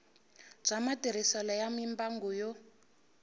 bya matirhiselo ya mimbangu yo